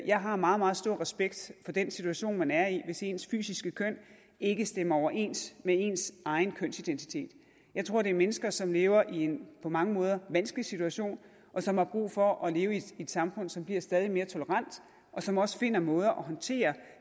jeg har meget meget stor respekt for den situation man er i hvis ens fysiske køn ikke stemmer overens med ens kønsidentitet jeg tror det er mennesker som lever i en på mange måder vanskelig situation og som har brug for at leve i et samfund som bliver stadig mere tolerant og som også finder måder at håndtere